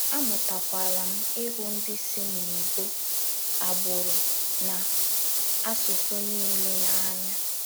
Amụtakwala m ịhụ ndị si n’ebo, agbụrụ, na asụsụ niile n’anya.